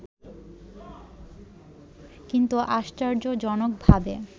কিন্তু আশ্চর্যজনকভাবে